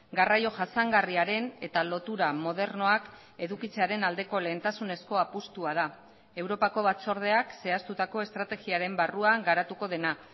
garraio jasangarriaren eta lotura modernoak edukitzearen aldeko lehentasunezko apustua da europako batzordeak zehaztutako estrategiaren barruan garatuko dena